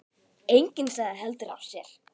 Enginn sagði heldur af sér.